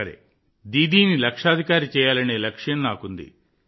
లక్షాధికారి దీదీని తయారు చేయాలనే లక్ష్యం నాకు ఉంది